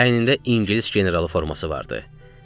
Əynində İngilis generalı forması vardı.